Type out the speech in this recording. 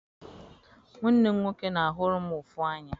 Nwanne m nwoke na-ahụrụ m ụfụ anya